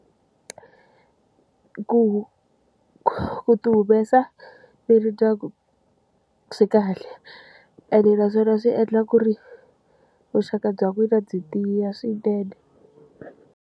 Ku ku ti humesa miri ndyangu swi kahle ene naswona swi endla ku ri vuxaka bya n'wina byi tiya swinene.